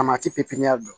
A ma ti pipiniyɛri la